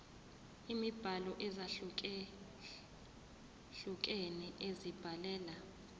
imibhalo ezahlukehlukene ezibhalela